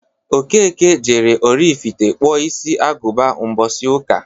Okeke jere Oraifite kpụọ isi agụba mbọsi ụka.